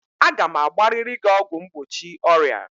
Aga m agbarịrị gị ọgwụ mgbochi ọrịa!